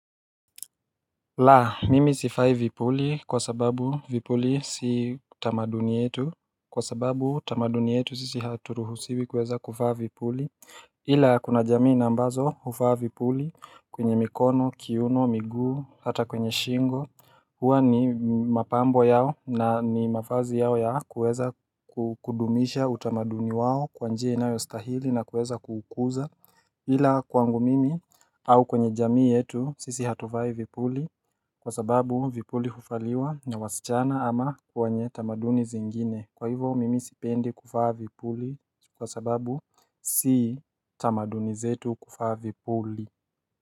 La mimi sivai vipuli kwa sababu vipuli si tamaduni yetu kwa sababu tamaduni yetu sisi haturuhusiwi kuweza kuvaa vipuli ila kuna jamii na ambazo huvaa vipuli kwenye mikono kiuno miguu hata kwenye shingo huwa ni mapambo yao na ni mavazi yao ya ku weza kudumisha utamaduni wao kwa njia inayo stahili na kuweza kukuza ila kwangu mimi au kwenye jamii yetu sisi hatuvai vipuli Kwa sababu vipuli huvaliwa na wasichana ama kwa wenye tamaduni zingine Kwa hivyo mimi sipendi kuvaa vipuli kwa sababu si tamaduni zetu kuvaa vipuli.